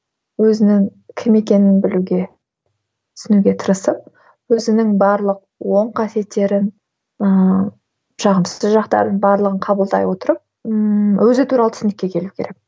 өзінің кім екенін білуге түсінуге тырысып өзінің барлық оң қасиеттерін ыыы жағымсыз жақтарын барлығын қабылдай отырып ммм өзі туралы түсінікке келуі керек